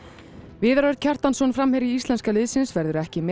viðar Örn Kjartansson framherji íslenska liðsins verður ekki með